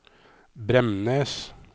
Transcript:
Bremnes